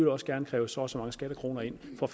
også gerne kræve så og så mange skattekroner ind for